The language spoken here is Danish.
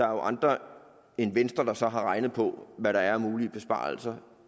er andre end venstre der så har regnet på hvad der er af mulige besparelser